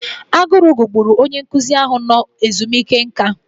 Agụrụ gugburu onye nkụzi ahụ nọ ezumike nká.